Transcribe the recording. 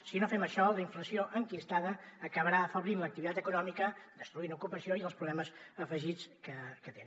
si no fem això la inflació enquistada acabarà afeblint l’activitat econòmica destruint ocupació i els problemes afegits que té